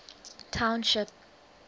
township